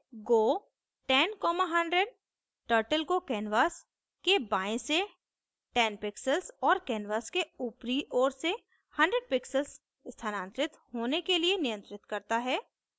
go 10100 turtle को canvas के बाएँ से 10 pixels और canvas के ऊपरी ओर से 100 pixels स्थानांतरित होने के लिए नियंत्रित करता है